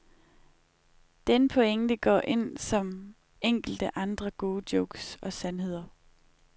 Den pointe går ind som enkelte andre gode jokes og sandheder.